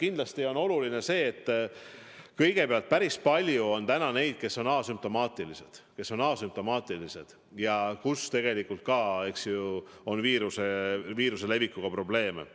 Kindlasti on oluline kõigepealt see, et päris palju on neid, kes on asümptomaatilised, aga kelle puhul tegelikult, eks ju, on ikkagi viiruse levitamisega probleeme.